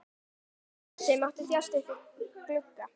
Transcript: Gosi mátti þjást uppí glugga.